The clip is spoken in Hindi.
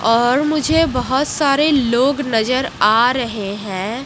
और मुझे बहोत सारे लोग नजर आ रहे हैं।